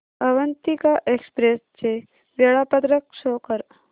Avantika express चे वेळापत्रक show कर